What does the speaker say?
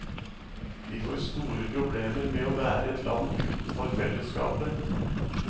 Vi får store problemer med å være et land utenfor fellesskapet.